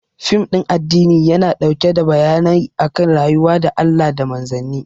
Fim ɗin addini yana ɗauke da bayanai akan rayuwa da Allah da Manzanni